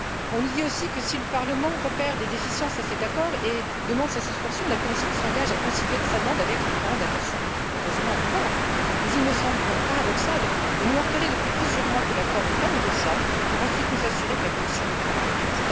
On nous dit aussi que, si le Parlement repère des déficiences à cet accord et demande sa suspension, la Commission s'engage à considérer sa demande avec la plus grande attention. Heureusement encore! Il me semble pourtant paradoxal de nous marteler depuis plusieurs mois que l'accord n'est pas négociable pour, ensuite, nous assurer que la Commission pourra le négocier.